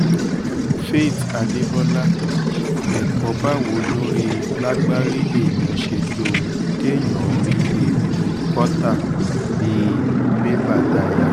faith adébọ́lá ẹ̀kọ́ báwo lóri lágbárí èèyàn ṣe dohun téyàn ń rí he nínu kọ́tà bíi béba daya